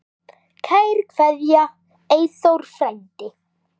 Kær kveðja, Eyþór frændi.